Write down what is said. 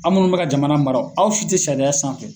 Aw munnu bɛka jamana mara o aw si tɛ sariya sanfɛ.